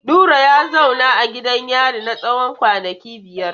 Nura ya zauna a gidan yari na tsawon kwanaki biyar.